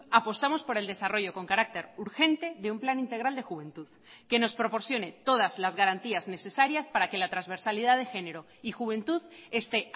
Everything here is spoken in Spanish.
apostamos por el desarrollo con carácter urgente de un plan integral de juventud que nos proporcione todas las garantías necesarias para que la transversalidad de género y juventud esté